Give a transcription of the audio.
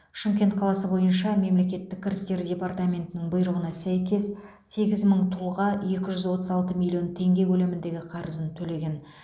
шымкент қаласы бойынша мемлекеттік кірістер департаментінің бұйрығына сәйкес сегіз мың тұлға екі жүз отыз алты миллион теңге көлеміндегі қарызын төлеген